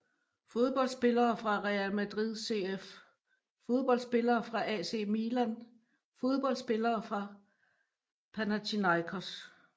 Fodboldspillere fra Real Madrid CF Fodboldspillere fra AC Milan Fodboldspillere fra Panathinaikos